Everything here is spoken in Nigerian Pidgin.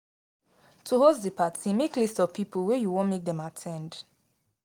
To host di parti make list of pipo wey you won make dem at ten d